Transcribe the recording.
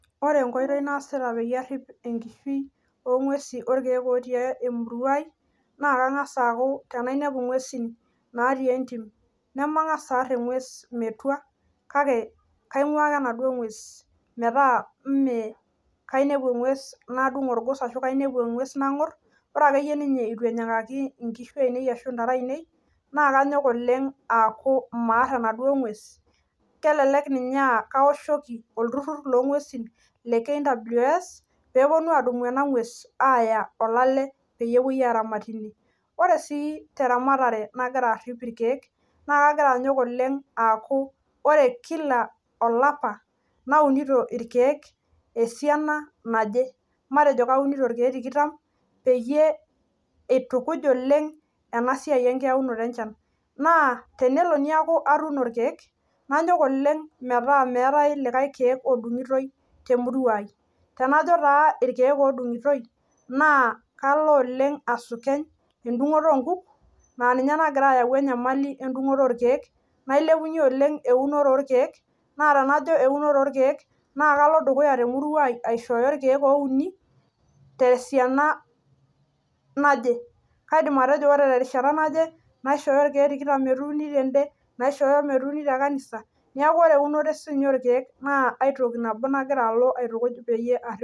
Ore enkoitoi naasita peyie arrip enkishui orkeek ootii emuruai naa kang'as aaku tenainepu ing'uesin naatii entim nemang'as aarr eng'ues metua kake kaing'uaa ake enaduo ng'ues metaa mee kainepu eng'ues nadung' orgos ashu kainepu eng'ues nang'orr, ore akeyie ninye eitu enyikaki inkishu ainei arashu intare ainei naakeanyok oleng' aaku maarr enaduo ng'ues, kelelek ninye aakaoshoki olturrur loong'uesin le KWS peepuonu adumu ena ng'ues aaya olale peyie epuoi aramatie ine. Ore sii teramatare nagira arrip ilkeek naakeagira anyok oleng' aaku ore  kila olapa naunito irkeek esiana naje, matejo kaunito irkeek tikitam peyie eitukuj oleng' enasiai enkiaunoto enchan, naa tenelo niaku atuuno irkeek nanyok oleng' metaa meetai likai keek odung'itoi temuruai. Tenajo taa irkeek odung'itoi naa kalo oleng' asukeny endung'oto onkuk naaninye nagira ayau enyamali endung'oto orkeek nailepunye oleng' eunore orkeek naa tenajo eunore orkeek naakalo dukuya temuruai aishooyo irkeek ouni tesiana naje. Kaidim atejo ore terishata naje naishooyo irkeek tikitam metuuni tende, naishooyo metuuni tekanisa neaku ore eunoto siinye orkeek naa aitoki nabo nagiraalo aitukuj peyie arrip.